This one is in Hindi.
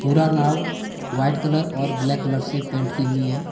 पूरा नाव वाइट कलर और ब्लैक कलर से पेंट की हुई है।